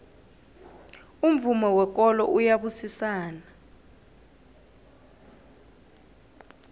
umvumo wekolo uyabusisana